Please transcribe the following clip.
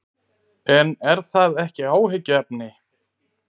En er það ekki áhyggjuefni?